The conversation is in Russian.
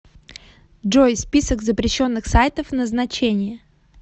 джой список запрещенных сайтов назначение